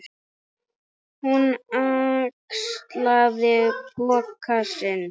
Hún axlaði poka sinn.